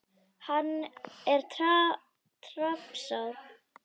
Hann er tapsár.